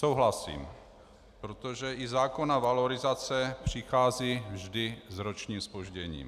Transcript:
Souhlasím, protože i zákonná valorizace přichází vždy s ročním zpožděním.